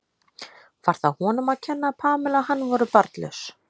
Var það honum að kenna að Pamela og hann voru barnlaus?